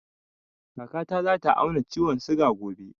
Kaka ta za ta auna ciwon suga gobe